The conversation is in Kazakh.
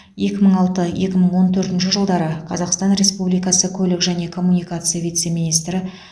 екі мың алты екі мың он төртінші жылдары қазақстан республикасы көлік және коммуникация вице министрі